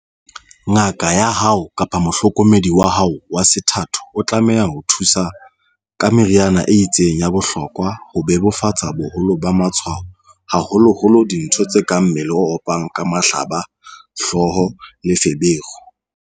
"Ngaka ya hao kapa mohlokomedi wa hao wa sethatho o tlameha o thusa ka meriana e itseng ya bohlokwa ho bebofatsa boholo ba matshwao, haholoholo dintho tse kang mmele o opang kapa mahlaba, hlooho le feberu."